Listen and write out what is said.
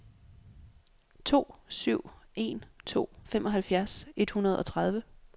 to syv en to femoghalvfjerds et hundrede og tredive